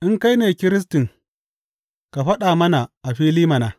In kai ne Kiristin, ka faɗa mana a fili mana.